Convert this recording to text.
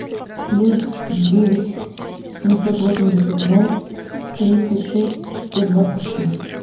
плюс девять семьсот восемьдесят ноль тридцать шесть сто двадцать шесть